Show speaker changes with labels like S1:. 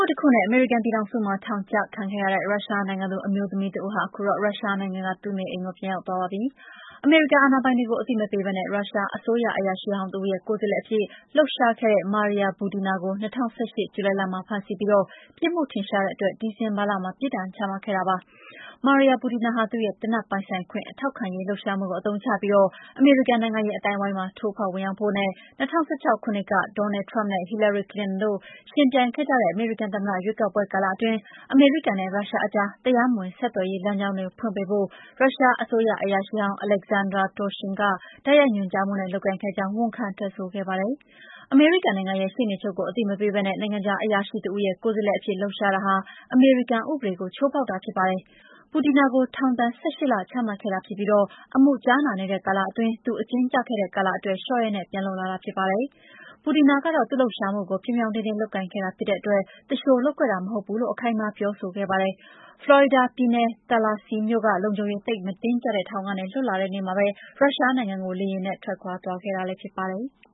S1: ှုတခုနဲ့ အမေရိကန်ပြည်ထောင်စုမှာ ထောင်ဒဏ်ကျခံနေရတဲ့ ရုရှားနိုင်ငံသူ အမျိုးသမီးတဦးဟာ ခုတော့ ရုရှားနိုင်ငံက သူ့နေအိမ်ကို ပြန်ရောက်သွားပါပြီ။ အမေရိကန်အာဏာပိုင်တွေကို အသိမပေးဘဲ ရုရှားအစိုးရ အရာရှိဟောင်းတဦးရဲ့ ကိုယ်စားလှယ်အဖြစ် လှုပ်ရှားခဲ့တဲ့ Maria Butina ကို ၂၀၁၈ ဇူလိုင်လမှာ ဖမ်းဆီးပြီး ပြစ်မှုထင်ရှားတဲ့အတွက် ဒီဇင်ဘာလမှာ ပြစ်ဒဏ်ချမှတ်ခဲ့တာ ဖြစ်ပါတယ်။ Maria Butina ဟာ သူ့ရဲ့ သေနတ်ပိုင်ဆိုင်ခွင့် ထောက်ခံရေး လှုပ်ရှားမှုကို အသုံးချပြီး အမေရိကန်နိုင်ငံရေး အသိုင်းအဝိုင်းမှာ ထိုးဖောက်ဝင်ရောက်ဖို့နဲ့ ၂၀၁၆ ခုနှစ်က Donald Trump နဲ့ Hillary Clinton တို့ ယှဉ်ပြိုင်ကြတဲ့ အမေရိကန်သမ္မတ ရွေးကောက်ပွဲကာလအတွင်း အမေရိကန်နဲ့ ရုရှားအကြား တရားမဝင် ဆက်သွယ်ရေး လမ်းကြောင်းတွေ ဖွင့်ပေးဖို့ ရုရှားအစိုးရ အရာရှိဟောင်း Alexander Torshin က တိုက်ရိုက်ညွှန်ကြားမှုနဲ့ လုပ်ကိုင်ခဲ့ကြောင်း ဝန်ခံထွက်ဆိုခဲ့ပါတယ်။ အမေရိကန်နိုင်ငံရဲ့ ရှေ့နေချုပ်ကို အသိမပေးဘဲ နိုင်ငံခြား အရာရှိတဦးရဲ့ ကိုယ်စားလှယ်အဖြစ် လှုပ်ရှားတာဟာ အမေရိကန်ဥပဒေကို ချိုးဖောက်တာဖြစ်ပါတယ်။ Butina ကို ထောင်ဒဏ် ၁၈ လ ချမှတ်ခဲ့တာဖြစ်ပြီး အမှုကြားနာနေတဲ့ ကာလအတွင်း သူအကျဉ်းကျခဲ့ရတဲ့ ကာလအတွက် လျှော့ရက်နဲ့ ပြန်လွတ်လာတာ ဖြစ်ပါတယ်။ Butina ကတော့ သူ့လှုပ်ရှားမှုတွေကို ပြောင်ပြောင်တင်းတင်း လုပ်ကိုင်ခဲ့တာဖြစ်တဲ့အတွက် သူလျှိုလုပ်ခဲ့တာ မဟုတ်ဘူးလို့ အခိုင်အမာ ပြောဆိုခဲ့ပါတယ်။ ဖလော်ရီဒါပြည်နယ် Tallahassee မြို့က လုံခြုံရေး သိပ်မတင်းကျပ်တဲ့ ထောင်ကနေ လွတ်လာတဲ့နေ့မှာပဲ ရုရှားနိုင်ငံကို လေယာဉ်နဲ့ ထွက်ခွာသွားခဲ့တာ ဖြစ်ပါတယ်။